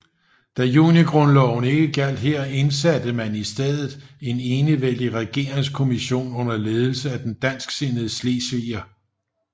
Da junigrundloven ikke gjaldt her indsatte man i stedet en enevældig regeringskommision under ledelse af den dansksindede slesviger F